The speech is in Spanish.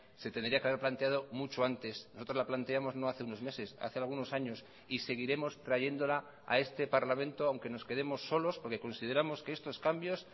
se tendría que haber planteado mucho antes nosotros la planteamos no hace unos meses hace algunos años y seguiremos trayéndola a este parlamento aunque nos quedemos solos porque consideramos que estos cambios